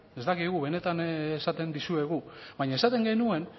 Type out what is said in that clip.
ez dakigu benetan esaten dizuegu baina esaten genuen